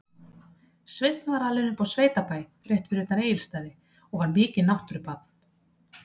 Sveinn var alinn upp á sveitabæ rétt fyrir utan Egilsstaði og var mikið náttúrubarn.